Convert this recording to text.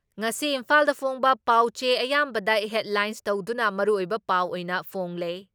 ꯉꯁꯤ ꯏꯝꯐꯥꯜꯗ ꯐꯣꯡꯕ ꯄꯥꯎꯆꯦ ꯑꯌꯥꯝꯕꯗ ꯍꯦꯗꯂꯥꯏꯟ ꯇꯧꯗꯨꯅ ꯃꯔꯨꯑꯣꯏꯕ ꯄꯥꯎ ꯑꯣꯏꯅ ꯐꯣꯡꯂꯦ ꯫